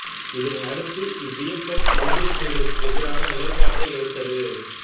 இதனை அடுத்து இவ்வியக்கம் விடுதலைப் புலிகளுக்கு எதிரான நிலைப்பாட்டை எடுத்தது